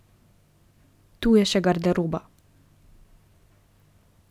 Tu je še garderoba.